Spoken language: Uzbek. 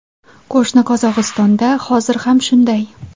Qo‘shni Qozog‘istonda hozir ham shunday.